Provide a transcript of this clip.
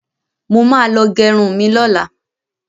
Mo ma lọ gẹrun mi lọ́la